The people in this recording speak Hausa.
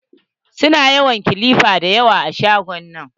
Su na kilipa dayawa a shagon nan.